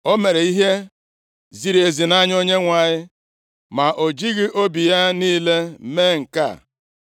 O mere ihe ziri ezi nʼanya Onyenwe anyị, ma o jighị obi ya niile mee nke a.